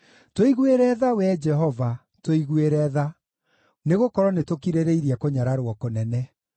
Tũiguĩre tha, Wee Jehova, tũiguĩre tha, nĩgũkorwo nĩtũkirĩrĩirie kũnyararwo kũnene.